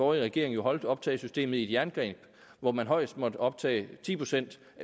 regering holdt optagesystemet i et jerngreb hvor man højst måtte optage ti procent